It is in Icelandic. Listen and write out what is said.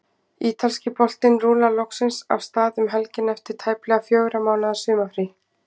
Ítalski boltinn rúllar loksins af stað um helgina eftir tæplega fjögurra mánaða sumarfrí.